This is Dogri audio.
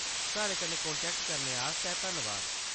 साढ़े कन्नै कांटैक्ट करने आस्तै धन्नबाद।